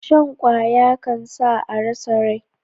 Shan kwaya kan sa a rasa rai